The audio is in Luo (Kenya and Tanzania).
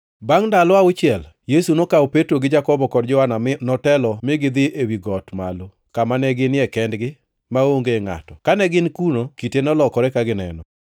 Bangʼ ndalo auchiel, Yesu nokawo Petro gi Jakobo kod Johana mi notelo mi gidhi ewi got malo, kama ne ginie kendgi maonge ngʼato. Kane gin kuno, kite nolokore ka gineno,